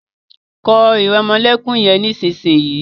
kọ iremolekun yén nísìsiyìí!